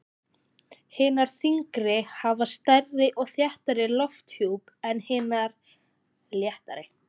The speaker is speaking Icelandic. Hinar þyngri hafa stærri og þéttari lofthjúp en hinar léttari.